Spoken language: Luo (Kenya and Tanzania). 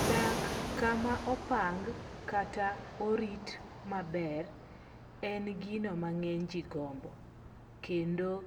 Dak kama opang kata orit maber, en gino mang'eny ji gombo. Kendo